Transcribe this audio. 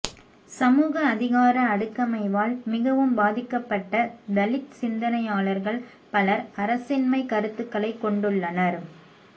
சமூக அதிகார அடுக்கமைவால் மிகவும் பாதிக்கப்பட்ட தலித் சிந்தனையாளர்கள் பலர் அரசின்மை கருத்துக்களை கொண்டுள்ளனர்